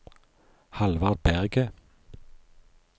Hallvard Berget